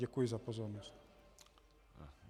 Děkuji za pozornost.